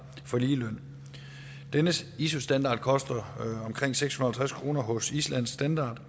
for ligeløn denne iso standard koster omkring seks hundrede og halvtreds kroner hos islandsk standard